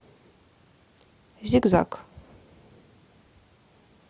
зигзаг